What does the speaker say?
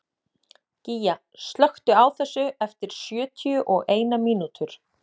Gígja, slökktu á þessu eftir sjötíu og eina mínútur.